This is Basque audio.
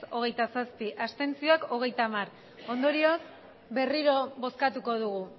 hogeita zazpi abstentzioak hogeita bat ondorioz berriro bozkatuko dugu